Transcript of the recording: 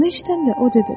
Bunu eşidəndə o dedi.